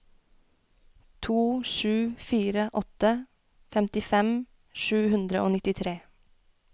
to sju fire åtte femtifem sju hundre og nittitre